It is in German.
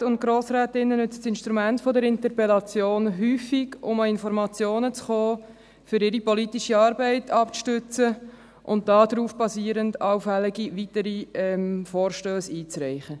Grossräten und Grossrätinnen nützt das Instrument der Interpellation häufig, um an Informationen zu kommen, um ihre politische Arbeit abzustützen und darauf basierend auch allfällige weitere Vorstösse einzureichen.